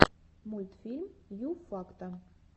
мультфильм ю факта